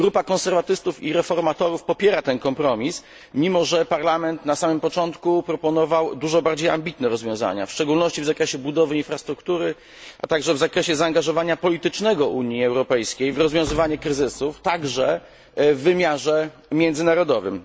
Grupa Konserwatystów i Reformatorów popiera ten kompromis, mimo że Parlament na samym początku proponował dużo bardziej ambitne rozwiązania, w szczególności w zakresie budowy infrastruktury, a także w zakresie zaangażowania politycznego Unii Europejskiej w rozwiązywanie kryzysów, także w wymiarze międzynarodowym.